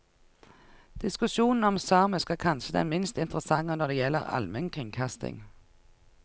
Diskusjonen om samisk er kanskje den minst interessante når det gjelder almenkringkasting.